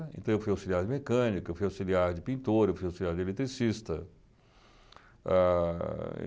Então, eu fui auxiliar de mecânica, eu fui auxiliar de pintor, eu fui auxiliar de eletricista. Ah